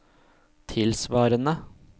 tilsvarende